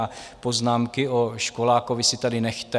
A poznámky o školákovi si tady nechte!